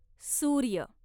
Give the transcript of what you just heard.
सूर्य